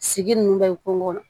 Sigi ninnu bɛ kungo kɔnɔ